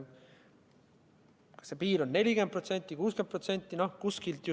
Kas see piir on 40% või 60%?